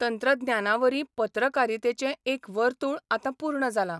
तंत्रज्ञानावरीं पत्रकारितेचें एक वर्तुळ आतां पूर्ण जालां.